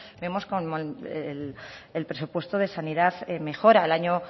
vemos como el presupuesto de sanidad mejora el año